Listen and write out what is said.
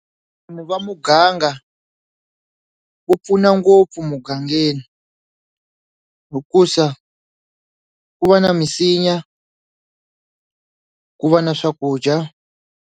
va muganga wu pfuna ngopfu mugangeni hikusa ku va na misinya ku va na swakudya.